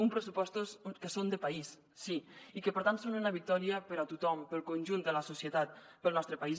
uns pressupostos que són de país sí i que per tant són una victòria per a tothom per al conjunt de la societat per al nostre país